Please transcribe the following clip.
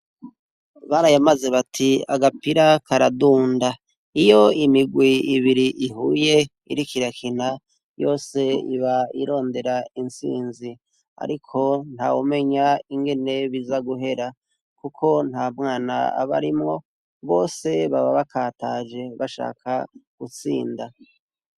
Barayamze bâti agapira karadunda. iyo imirwi ibiri ihuye iriko irakina yose iba irarondera intsizi, ariko ntawumenya ingene biza guhera kuko Ntamwana aba arimwo Bose baba bakataje bashaka gutsinda.